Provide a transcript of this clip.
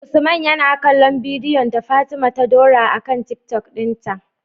usman yana kallon bidiyon da fatima ta dora a tiktok din ta